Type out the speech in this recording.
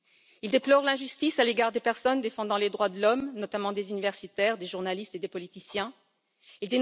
Il déplore l'injustice à l'égard des personnes défendant les droits de l'homme, notamment des universitaires, des journalistes et des responsables politiques.